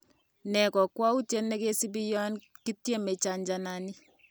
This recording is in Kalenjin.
Ne kokwoutyet nekisibi yon kityeme chanjanani?